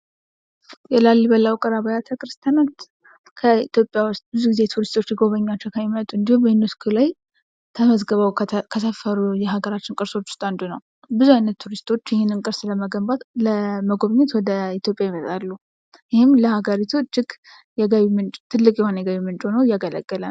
የላሊበላ ውቅር አቢያተ ክርስቲያናት በኢትዮጵያ ውስጥ ብዙ ግዜ ቱሪስቶች ሊጎበኟቸው ከሚመጡ እንዲሁም ዩኒስኮ ላይ ተመዝግበው ከሰፈሩ የሀገራችን ቅርሶች ውስጥ አንዱ ነው። ብዙ አይነት ቱሪስቶች ይኽንን ቅርስ ለመገንባት ለመጎብኘት ወደ ኢትዮጵያ ይመጣሉ። ይህም ለሀገሪቱ እጅግ የገቢ ምንጭ ትልቅ የሆነ የገቢ ምንጭ ሆኖ እያገለለገለ ነው።